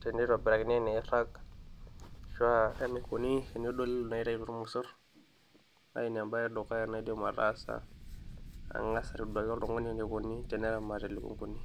tenitobirakini eniiraag ashua enaikoni tenedoli inaitaituo irmosorr naa ina embaye e dukuya naidim ataasa ang'as aitoduaki oltung'ani enikoni teneramati ilukunguni.